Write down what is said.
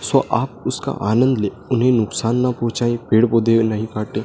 Show आप उसका आनंद ले उन्हे नुकसान न पहुंचाये पेड़ पौधे नही काटे।